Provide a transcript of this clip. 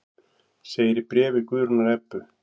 Segir í bréfi Guðrúnar Ebbu.